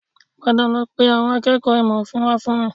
Padà lọ pe àwọn akẹ́kọ̀ọ́ ìmọ̀ òfin wá fún mi